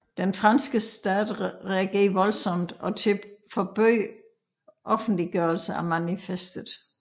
Den franske stat reagerede voldsomt og forbød offentliggørelse af manifestet